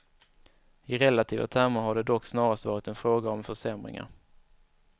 I relativa termer har det dock snarast varit en fråga om försämringar.